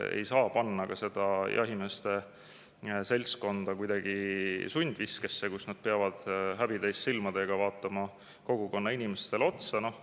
Ei saa panna seda jahimeeste seltskonda kuidagi sundviskesse, nii et nad peavad häbi täis silmadega vaatama kogukonna inimestele otsa.